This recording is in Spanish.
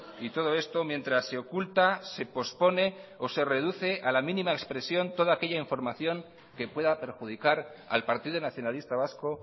y todo esto mientras se oculta se pospone o se reduce a la mínima expresión toda aquella información que pueda perjudicar al partido nacionalista vasco